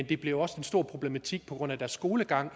det bliver også en stor problematik på grund af deres skolegang